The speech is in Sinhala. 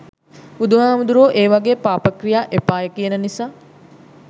බුදුහාමුදුරුවො ඒ වගේ පාපක්‍රියා එපාය කියන නිසා